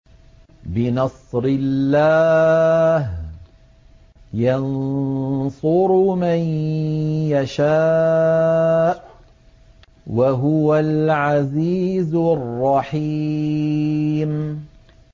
بِنَصْرِ اللَّهِ ۚ يَنصُرُ مَن يَشَاءُ ۖ وَهُوَ الْعَزِيزُ الرَّحِيمُ